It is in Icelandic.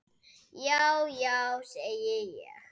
Já já, segi ég.